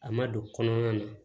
A ma don kɔnɔna